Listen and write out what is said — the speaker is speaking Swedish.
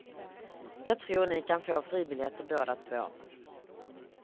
Jag tror ni kan få fribiljetter båda två.